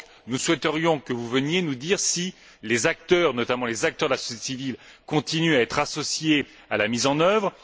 Nous souhaiterions donc que vous veniez nous dire si les acteurs, notamment les acteurs de la société civile, continuent à être associés à la mise en œuvre.